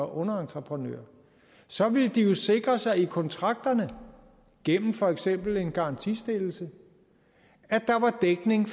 underentreprenører så ville de jo sikre sig i kontrakterne gennem for eksempel en garantistillelse at der var dækning